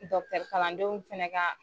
kalandenw fɛnɛ ka